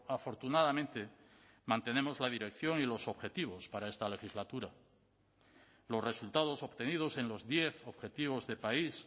afortunadamente mantenemos la dirección y los objetivos para esta legislatura los resultados obtenidos en los diez objetivos de país